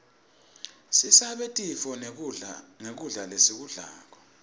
sisabe tifo nqgkudla lesikublako